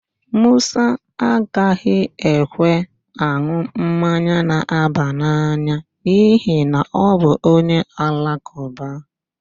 Musa agaghị ekwe an̄ụ mmanya na-aba n'anya n'ihi na ọ bụ onye Alakụba.